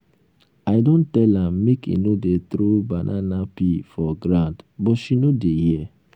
i don tell am make e no dey throw banana peel for ground but she no dey hear